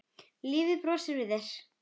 Og lífið brosir við þér!